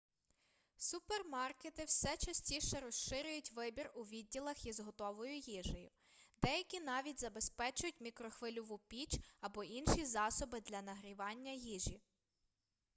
супермаркети все частіше розширюють вибір у відділах із готовою їжею деякі навіть забезпечують мікрохвильову піч або інші засоби для нагрівання їжі